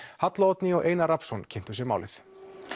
halla Oddný og Einar Rafnsson kynntu sér málið